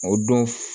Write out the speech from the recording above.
O don